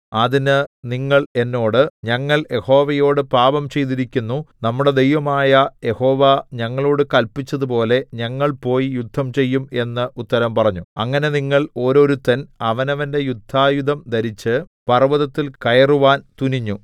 അതിന് നിങ്ങൾ എന്നോട് ഞങ്ങൾ യഹോവയോട് പാപം ചെയ്തിരിക്കുന്നു നമ്മുടെ ദൈവമായ യഹോവ ഞങ്ങളോടു കല്പിച്ചതുപോലെ ഞങ്ങൾ പോയി യുദ്ധം ചെയ്യും എന്ന് ഉത്തരം പറഞ്ഞു അങ്ങനെ നിങ്ങൾ ഓരോരുത്തൻ അവനവന്റെ യുദ്ധായുധം ധരിച്ച് പർവ്വതത്തിൽ കയറുവാൻ തുനിഞ്ഞു